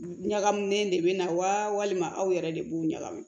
Ɲagaminen de bɛ na walima aw yɛrɛ de b'u ɲagami